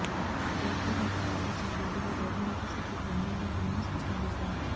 Covaxin vaccine ఇచ్చిన జంతువుల్లో రోగనిరోధక శక్తి గణనీయంగా పెరిగిందని స్పష్టం చేశారు